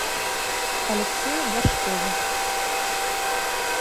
алексее горшкове